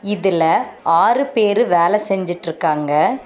இதுல ஆறு பேரு வேல செஞ்சுட்ருக்காங்க.